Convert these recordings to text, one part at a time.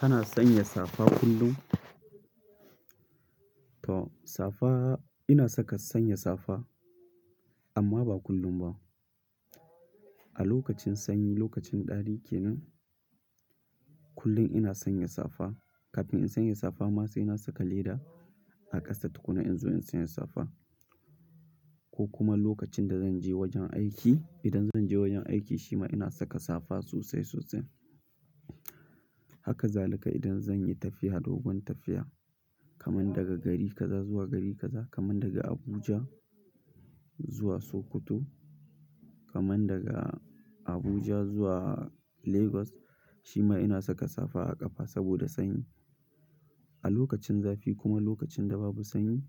Kana sanya safa kullum? To safa ina saka sanya safa amma ba kullum ba. A lokacin sanyi, lokacin ɗari ke nan kullum ina sanya safa. Kafin in sanya safa ma sai na saka leda a ƙasa tukunna in zo in sanya safa. Ko kuma lokacin da zan je wajen aiki, idan zan je wajen aiki shi ma ina saka safa sosai sosai. Haka zalika idan zan yi tafiya dogon tafiya kamar daga gari kaza zuwa gari kaza kamar daga Abuja zuwa Sokoto, kamar daga Abuja zuwa Lagos shi ma ina saka safa a ƙafa saboda sanyi. A lokacin zafi kuma lokacin da babu sanyi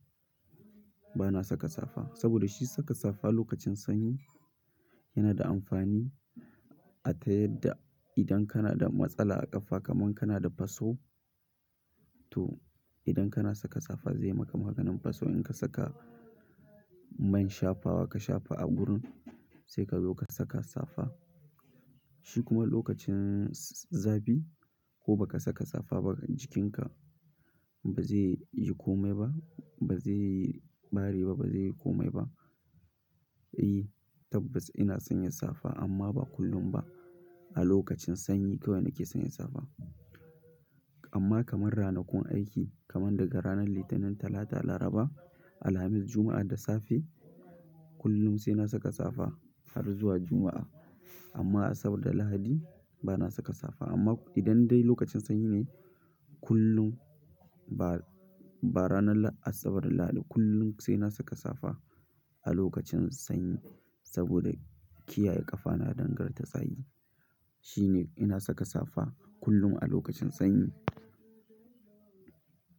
bana saka safa. Saboda shi saka safa lokacin sanyi yana da amfani a ta yadda idan kana da matsala a ƙafa kamar kana da faso to idan kana saka safa zai ma ka maganin faso. In ka saka man shafawa ka shafa a gurin sai ka zo ka saka safa. Shi kuma lokacin zafi ko ba ka saka safa ba jikinka ba zai yi komai ba, ba zai ɓare ba, ba zai yi komai ba. E, tabbas ina sanya safa amma ba kullum ba. A lokacin sanyi kawai nake sanya safa. Amma kamar ranakun aiki kamar daga ranar Litinin, Talata, Laraba, Alhamis, Juma'a da safe kullum sai na saka safa har zuwa Juma'a. Amma Asabar da Lahadi bana saka safa. Amma idan dai lokacin sanyi ne kullum ba, ba ranar Asabar da Lahadi kullum sai na saka safa a lokacin sanyi saboda kiyaye ƙafana danganta tsayi. Shi ne ina saka safa kullum a lokacin sanyi.